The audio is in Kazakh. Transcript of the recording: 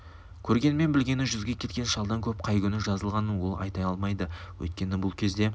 көргені мен білгені жүзге келген шалдан көп қай күні жазылғанын ол айта алмайды өйткені бұл кезде